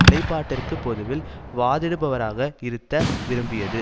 நிலைப்பாட்டிற்கு பொதுவில் வாதிடுபவராக இருத்த விரும்பியது